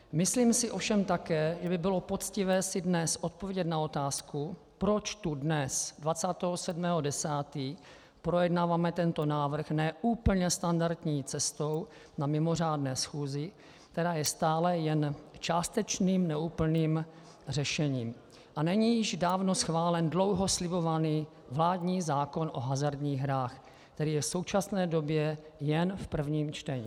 Myslím si ovšem také, že by bylo poctivé si dnes odpovědět na otázku, proč tu dnes, 27. 10., projednáváme tento návrh ne úplně standardní cestou na mimořádné schůzi, která je stále jen částečným, neúplným řešením, a není již dávno schválen dlouho slibovaný vládní zákon o hazardních hrách, který je v současné době jen v prvním čtení.